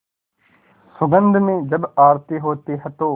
सुगंध में जब आरती होती है तो